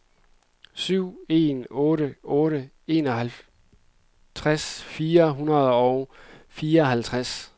syv en otte otte enoghalvtreds fire hundrede og fireoghalvtreds